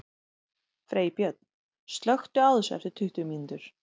Freybjörn, slökktu á þessu eftir tuttugu mínútur.